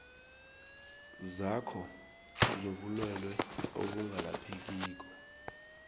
zakho zobulwelwe obungalaphekiko